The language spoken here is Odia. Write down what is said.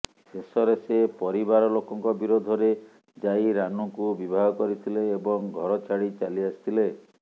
ଶେଷରେ ସେ ପରିବାର ଲୋକଙ୍କ ବିରୋଧରେ ଯାଇ ରାନୁଙ୍କୁ ବିବାହ କରିଥିଲେ ଏବଂ ଘର ଛାଡି ଚାଲିଆସିଥିଲେ